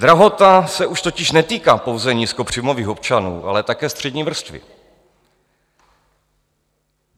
Drahota se už totiž netýká pouze nízkopříjmových občanů, ale také střední vrstvy.